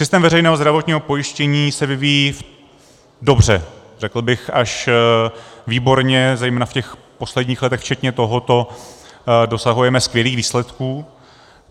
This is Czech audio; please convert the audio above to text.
Systém veřejného zdravotního pojištění se vyvíjí dobře, řekl bych až výborně, zejména v těch posledních letech, včetně tohoto, dosahujeme skvělých výsledků.